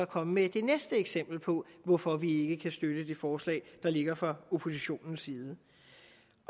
komme med det næste eksempel på hvorfor vi ikke kan støtte det forslag til der ligger fra oppositionens side